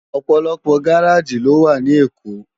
Òpòlòpò gáráji ló wá ni Ékó